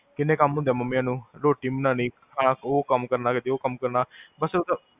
ਕਿੰਨੇ ਕਮ ਹੁੰਦੇ ਆ mummies ਨੂੰ, ਰੋਟੀ ਬਨਾਨੀ, ਓਹ ਕਾਮ ਕਰਨਾ, ਕਦੇ ਓਹ ਕਾਮ ਕਰਨਾ, ਬੱਸ